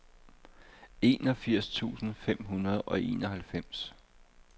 enogfirs tusind fem hundrede og enoghalvfems